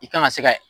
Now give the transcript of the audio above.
I kan ka se ka